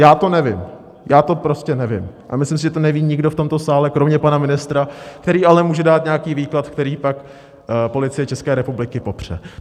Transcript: Já to nevím, já to prostě nevím a myslím si, že to neví nikdo v tomto sále kromě pana ministra, který ale může dát nějaký výklad, který pak Policie České republiky popře.